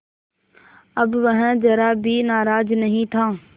अब वह ज़रा भी नाराज़ नहीं था